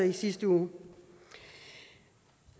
i sidste uge